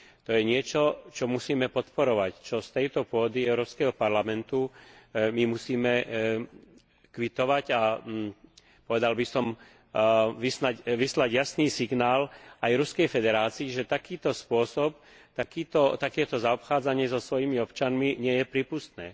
To je niečo, čo musíme podporovať, čo z tejto pôdy Európskeho parlamentu musíme kvitovať a musíme, povedal by som, vyslať jasný signál aj Ruskej federácii, že takýto spôsob, takéto zaobchádzanie so svojimi občanmi nie je prípustné.